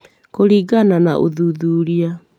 Kũringana na ũthuthuria